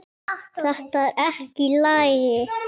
Þetta er ekki í lagi!